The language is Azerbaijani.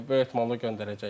Böyük ehtimalla göndərəcəklər.